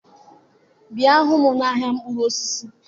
Bịa hụ m n'ahịa mkpụrụ osisi?